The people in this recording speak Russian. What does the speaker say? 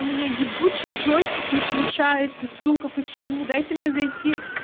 у меня ебучей джойстик не включается сука почему дайте мне зайти